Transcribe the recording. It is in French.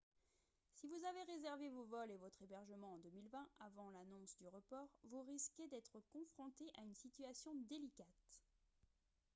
si vous avez réservé vos vols et votre hébergement en 2020 avant l'annonce du report vous risquez d'être confronté à une situation délicate